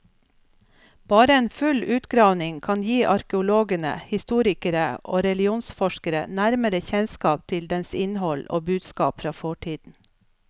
Bare en full utgravning kan gi arkeologene, historikere og religionsforskere nærmere kjennskap til dens innhold og budskap fra fortiden.